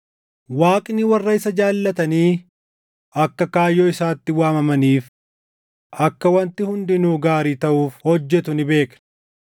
Waaqni warra isa jaallatanii akka kaayyoo isaatti waamamaniif akka wanti hundinuu gaarii taʼuuf hojjetu ni beekna.